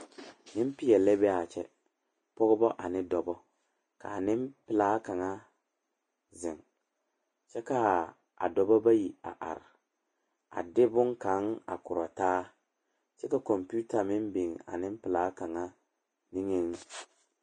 Nempeɛle la be a kyɛ pɔgeba ane dɔbɔ ka a nempelaa kaŋa zeŋ kyɛ ka a dɔbɔ bayi are a de boŋkaŋa a kora taa kyɛ ka kompenta meŋ biŋ a nempelaa kaŋa niŋeŋ.